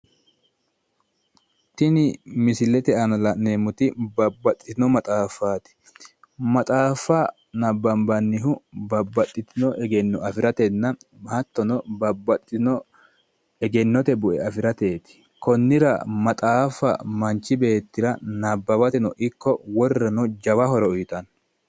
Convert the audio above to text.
Tini misilete aana la'neemmoti babbaxxitino maxaaffaati. Maxaaffa babbaxxitino egenno afiratenna hattono babbaxxitino egennote bue afirateeti. Konnira maxaaffa manchi beettira nabbawateno ikko wolirirano jawa horo uyitanno.